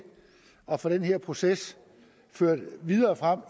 at få den her proces ført videre frem